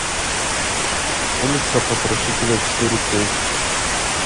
улица потрошителя четыре кей